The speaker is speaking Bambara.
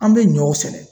An bɛ ɲɔ sɛnɛ